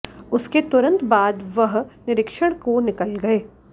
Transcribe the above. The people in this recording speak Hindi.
उसके तुरंत बाद वहर निरीक्षण को निकल गए